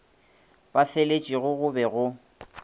ba faletšego go be go